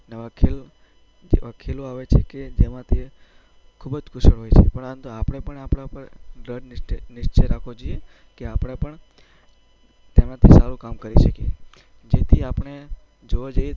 અને નવા ખેલો આવે છે કે જેમાં તે ખૂબ જ કુશળ હોય છે, પરંતુ આપણે પણ આપણા પર દૃઢ નિશ્ચય રાખવો જોઈએ કે આપણે પણ તેનાથી સારું કામ કરી શકીએ.